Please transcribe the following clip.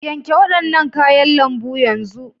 Yanke waɗannan kayan lambu yanzu!!